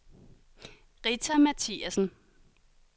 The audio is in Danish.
Rita Mathiassen